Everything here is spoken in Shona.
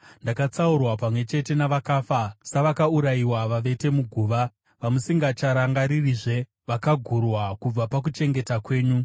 Ndakatsaurwa pamwe chete navakafa, savakaurayiwa vavete muguva, vamusingacharangaririzve, vakagurwa kubva pakuchengeta kwenyu.